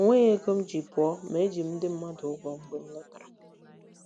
O nweghị ego m ji pụọ, ma eji m ndị mmadụ ụgwọ mgbe m lọtara.